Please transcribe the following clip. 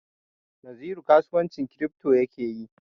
Naziru kasuwancin kiripto ya ke yi.